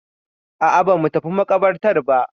A'a ba mu tafi maƙabartar ba.